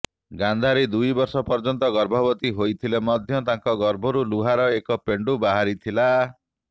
ଗାନ୍ଧାରୀ ଦୁଇ ବର୍ଷ ପର୍ଯ୍ୟନ୍ତ ଗର୍ଭବତୀ ହୋଇଥିଲେ ମଧ୍ୟ ତାଙ୍କ ଗର୍ଭରୁ ଲୁହାର ଏକ ପେଣ୍ଡୁ ବାହାରିଥିଲା